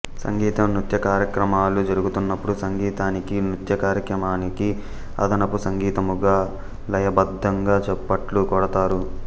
సంగీతం నృత్య కార్యక్రమాలు జరుగుతున్నప్పుడు సంగీతానికి నృత్య కార్యక్రమానికి అదనపు సంగీతముగా లయ బద్ధంగా చప్పట్లు కొడతారు